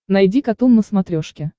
найди катун на смотрешке